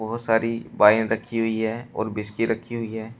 बहोत सारी वाइन रखी हुई है और व्हिस्की रखी हुई है।